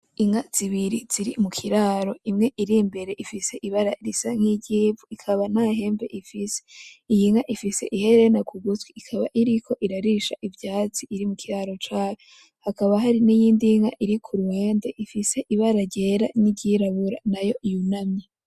Inka zibiri ziri mu kiraro, imwe iri mbere ifise ibara risa nkiry'ivu rikaba nta hembe ifise, iyi nka ifise ihereni kugutwi ikaba iriko irarisha ivyatsi iri mu kiraro cayo, hakaba hari n'iyindi nka iri kuruhande ifise ibara ryera niry'irabura nayo yunamye.